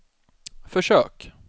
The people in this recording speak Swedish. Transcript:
försök